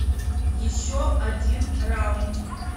еще один раунд